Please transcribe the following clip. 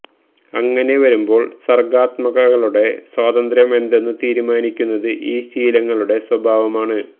അങ്ങനെ വരുമ്പോള് സര്ഗ്ഗാത്മകതയുടെ സ്വാതന്ത്ര്യം എന്തെന്നു തീരുമാനിക്കുന്നത് ഈ ശീലങ്ങളുടെ സ്വഭാവമാണ്